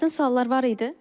Çətin suallar var idi?